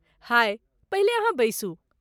हाय, पहिले अहाँ बैसू।